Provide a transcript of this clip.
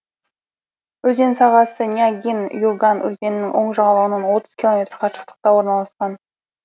өзен сағасы нягинь юган өзенінің оң жағалауынан отыз километр қашықтықта орналасқан